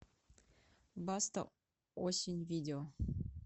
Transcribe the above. баста осень видео